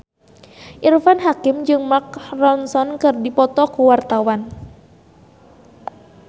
Irfan Hakim jeung Mark Ronson keur dipoto ku wartawan